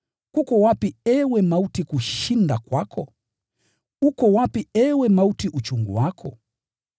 “Kuko wapi, ee mauti, kushinda kwako? Uko wapi, ee mauti, uchungu wako?”